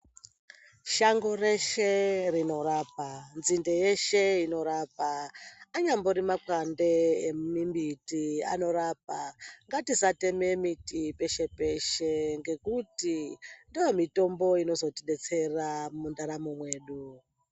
Shango reshe rinorapa, nzinde yeshe inorapa, anyambori mapande emimbiti anorapa ngatisateme miti peshe peshe ngekuti ndoomitombo inozotodetsera mundaramo yedu.